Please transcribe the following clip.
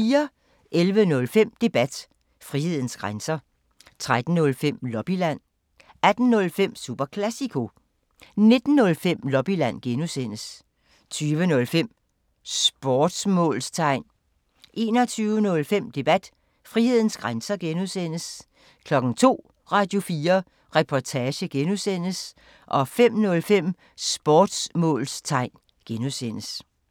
11:05: Debat: Frihedens grænser 13:05: Lobbyland 18:05: Super Classico 19:05: Lobbyland (G) 20:05: Sportsmålstegn 21:05: Debat: Frihedens grænser (G) 02:00: Radio4 Reportage (G) 05:05: Sportsmålstegn (G)